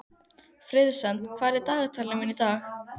Friðsemd, hvað er í dagatalinu mínu í dag?